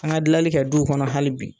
An ka dilali kɛ duw kɔnɔ hali bi